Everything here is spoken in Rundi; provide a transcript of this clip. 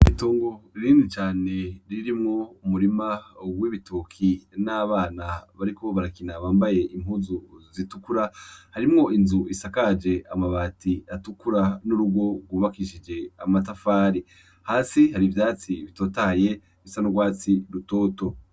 Itongo rinini cane ririmwo umurima w'ibitoki n'abana bariko barakina bambaye impuzu zitukura, harimwo inzu isakaje amabati atukura n'urugo rwubakishije amatafari, hasi har'ivyatsi bitotahaye bisa n'urwatsi rutoto.